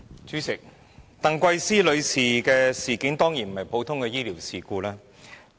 主席，鄧桂思女士的事件，當然不是普通的醫療事故。